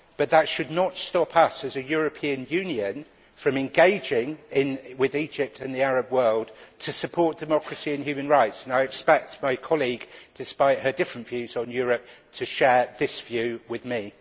But that should not stop us, as a European Union, from engaging with Egypt and the Arab world to support democracy and human rights, and I expect my colleague, despite her different views on Europe, to share this view with me.